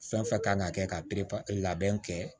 Fɛn fɛn kan ka kɛ ka perepere labɛn kɛ